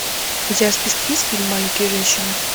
у тебя в списке есть фильм маленькие женщины